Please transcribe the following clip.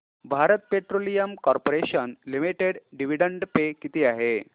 Bharat Petroleum Corporation Limited dividend pay किती आहे